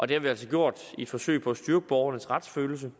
det har vi altså gjort i et forsøg på at styrke borgernes retsfølelse